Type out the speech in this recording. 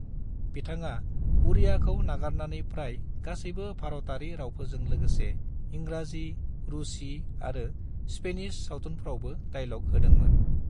बिथाङा उड़ियाखौ नागारनानै प्राय गासैबो भारतारि रावफोरजों लोगोसे इंराजि, रूसी आरो स्पेनिश सावथुनफ्रावबो डाइल'ग होदोंमोन।